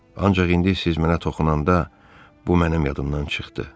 Ancaq indi siz mənə toxunanda bu mənim yadımdan çıxdı.